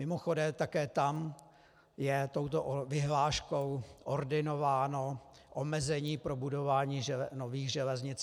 Mimochodem, také tam je touto vyhláškou ordinováno omezení pro budování nových železnic.